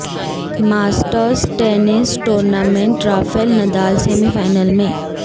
masters tennis tournament Rafael Nadal semi final میں